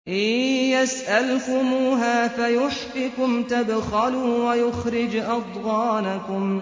إِن يَسْأَلْكُمُوهَا فَيُحْفِكُمْ تَبْخَلُوا وَيُخْرِجْ أَضْغَانَكُمْ